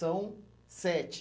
São sete.